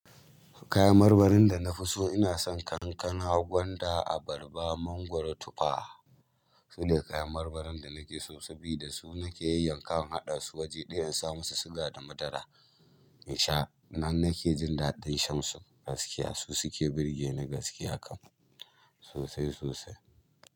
Kayan marmarin da na fi so ina son kankana, gwanda, abarba, mangwaro, tufa. Sune kayan marmarin da nake so sabida su nake yayyan kawa inhaɗa su waje ɗaya in sa musu suga da madara in sha. Nan nake jin daɗin shan su gaskiya. Su suke burge ni gaskiya kam sosai sosai.